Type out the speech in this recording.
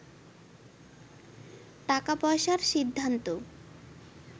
টাকা পয়সার সিদ্ধান্ত